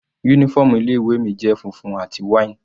Uniform ilé ìwé mi jẹ́ funfun àti wine.